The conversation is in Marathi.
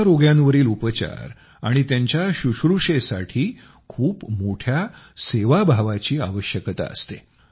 अशा रोग्यांवरील उपचार आणि त्यांच्या शुश्रुषेसाठी खूप मोठ्या सेवाभावाची आवश्यकता असते